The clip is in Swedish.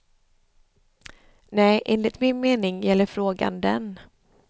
Nej, enligt min mening gäller frågan den.